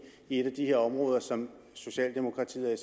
et af de her områder som socialdemokratiet og